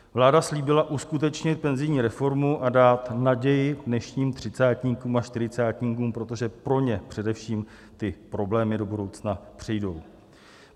Vláda slíbila uskutečnit penzijní reformu a dát naději dnešním třicátníkům a čtyřicátníkům, protože pro ně především ty problémy do budoucna přijdou.